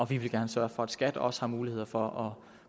vi vil gerne sørge for at skat også har muligheder for